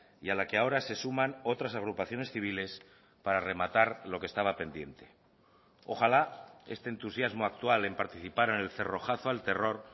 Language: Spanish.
y a la que ahora se suman otras agrupaciones civiles para rematar lo que estaba pendiente ojalá este entusiasmo actual en participar en el cerrojazo al terror